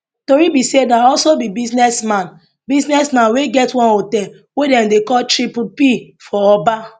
tori be say na also be businessman businessman wey get one hotel wey dem dey call triple p for oba